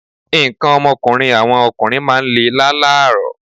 Nǹkan ọmọkùnrin àwọn ọkùnrin máa ń lè lálààrọ̀